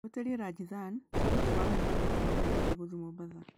wĩtĩrĩe Rajdhani tigiti wa mũgithi kuuma Nairobi gũthiĩ mombatha